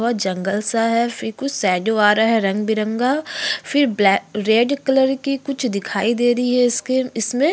बहुत जंगल सा है फिर कुछ शेडो आ रहा है रंग-बिरंगा फिर ब्लैक रेड कलर की कुछ दिखाई दे रही है स्किन इसमें।